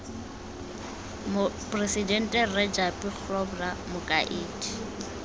moporesidente rre japie grobler mokaedi